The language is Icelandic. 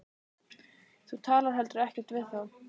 Þú talar heldur ekkert við þá.